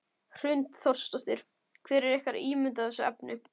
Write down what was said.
Hrund Þórsdóttir: Hver er ykkar ímynd af þessu efni?